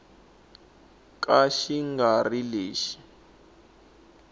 ka xi nga ri lexi